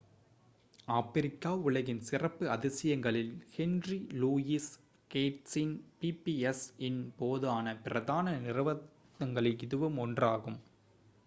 ஆப்பிரிக்க உலகின் சிறப்பு அதிசயங்களில் ஹென்றி லூயிஸ் கேட்ஸின் pbs-இன் போதான பிரதான நிறுத்தங்களில் இதுவும் ஒன்றாகும்